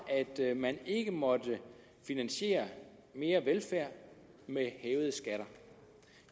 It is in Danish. at man ikke måtte finansiere mere velfærd med hævede skatter